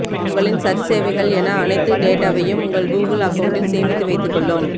உங்களின் சர்ச் சேவைகள் என அனைத்து டேட்டாவையும் உங்கள் கூகுள் அக்கௌண்ட்டில் சேமித்து வைத்துக் கொள்ளும்